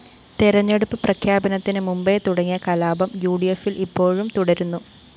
തെരഞ്ഞെടുപ്പ് പ്രഖ്യാപനത്തിന് മുമ്പേ തുടങ്ങിയ കലാപം യുഡിഎഫില്‍ ഇപ്പോഴും തുടരുന്നു